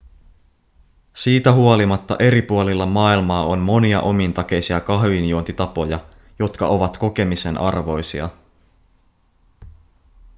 siitä huolimatta eri puolilla maailmaa on monia omintakeisia kahvinjuontitapoja jotka ovat kokemisen arvoisia